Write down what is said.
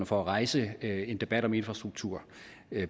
for at rejse en debat om infrastruktur